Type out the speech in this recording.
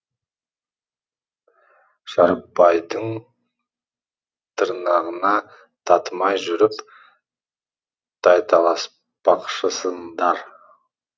шәріпбайдың тырнағына татымай жүріп тайталаспақшысыңдар